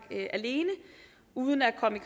alene uden at komme i